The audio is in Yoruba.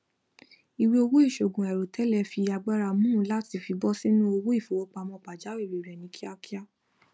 iweowó iṣoogun àìròtẹlẹ fi agbára mú u láti fíbọ sínú owó ìfowópamọ pajàwìrí rẹ ní kíákíá